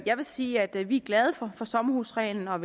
jeg vil sige at vi er glade for sommerhusreglen og